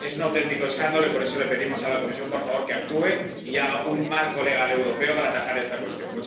Es un auténtico escándalo y, por eso, le pedimos a la Comisión, por favor, que actúe y elabore un marco legal europeo para atajar esta cuestión.